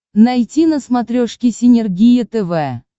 найти на смотрешке синергия тв